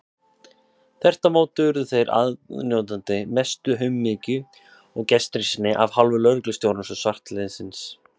Þvert á móti urðu þeir aðnjótandi mestu umhyggju og gestrisni af hálfu lögreglustjórans og svartliðsins.